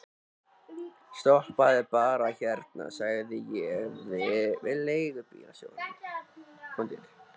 Stoppaðu bara hérna, segi ég við leigubílstjórann.